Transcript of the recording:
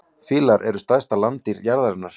Fílar eru stærstu landdýr jarðarinnar.